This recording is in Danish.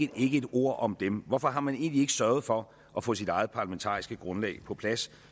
der ikke ét ord om dem hvorfor har man egentlig ikke sørget for at få sit eget parlamentariske grundlag på plads